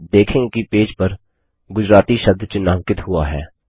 आप देखेंगे कि पेज पर गुजराती शब्द चिन्हांकित हुआ है